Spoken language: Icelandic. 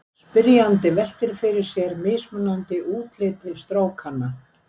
Spyrjandi veltir fyrir sér mismunandi útliti strókanna.